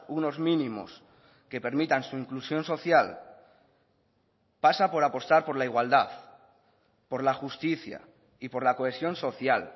unos mínimos que permitan su inclusión social pasa por apostar por la igualdad por la justicia y por la cohesión social